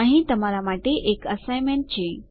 અહીં તમારા માટે એક અસાઇનમેન્ટ છે